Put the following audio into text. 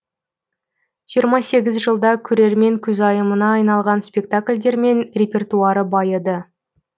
жиырма сегіз жылда көрермен көзайымына айналған спектакльдермен репертуары байыды